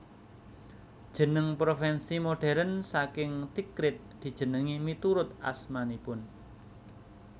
Jeneng provinsi modern saking Tikrit dijenengi miturut asmanipun